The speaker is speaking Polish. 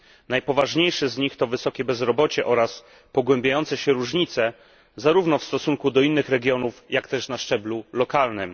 Najpoważniejsze z nich to wysokie bezrobocie oraz pogłębiające się różnice zarówno w stosunku do innych regionów jak też na szczeblu lokalnym.